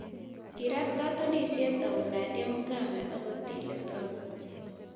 Kiiraat katunisiet au Nadia Mukami ak Otile Brown